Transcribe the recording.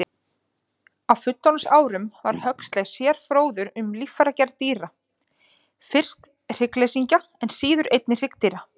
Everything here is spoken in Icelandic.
stöng á traktor.